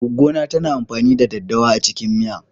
Goggo na tana amfani da ɗaddawa a cikin miya.